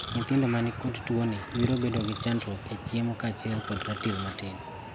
Nyithindo manikod tuoni biro bedo kod chandruok e chiemo kachiel kod ratil matin.